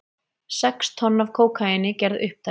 Sex tonn af kókaíni gerð upptæk